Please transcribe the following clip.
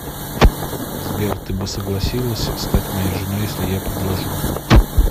сбер ты бы согласилась стать моей женой если я предложу